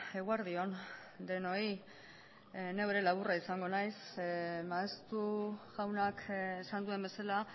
eguerdi on denoi neu ere laburra izango naiz maeztu jaunak esan duen bezala